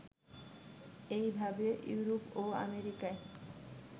এইভাবে ইউরোপ ও আমেরিকায়